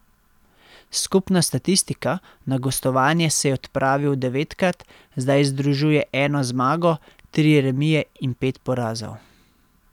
Skupna statistika, na gostovanje se je odpravil devetkrat, zdaj združuje eno zmago, tri remije in pet porazov.